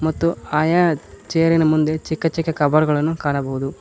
ಮತ್ತು ಆಯಾ ಚೇರಿನ ಮುಂದೆ ಚಿಕ್ಕ ಚಿಕ್ಕ ಕಬೋರ್ಡ್ ಗಳನ್ನು ಕಾಣಬಹುದು.